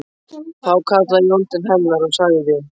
Þá kallaði Jón til hennar og sagði